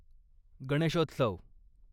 Ganeshotsav